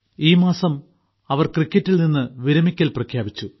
ഈ മാസം അവർ ക്രിക്കറ്റിൽ നിന്ന് വിരമിക്കൽ പ്രഖ്യാപിച്ചു